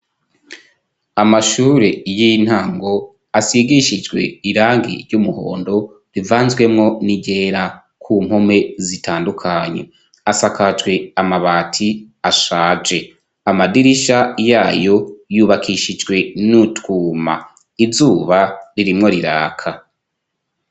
Amashure y'intango asigishijwe irangi ry'umuhondo rivanzwemo n'igera ku nkome zitandukanye asakacwe amabati ashaje amadirisha yayo yubakishijwe n'utwuma. izuba ririmwo riraka.